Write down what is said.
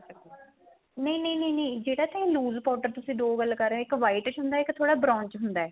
ਨਹੀਂ ਨਹੀਂ ਨਹੀਂ ਜਿਹੜਾ ਵੈਸੇ lose powder ਤੁਸੀਂ ਦੋ ਗੱਲ ਕ਼ਰ ਰਹੇ ਓ ਇੱਕ white ਚ ਹੁੰਦਾ ਇੱਕ ਥੋੜਾ brown ਚ ਹੁੰਦਾ